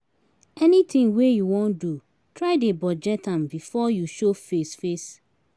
anytin wey yu wan do try dey budget am bifor yu show face face